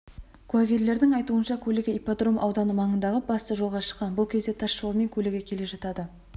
куәгерлердің айтуынша көлігі ипподром ауданы маңындағы басты жолға шыққан бұл кезде тас жолмен көлігі келе жатады